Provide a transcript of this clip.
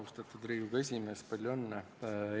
Austatud Riigikogu esimees, palju õnne!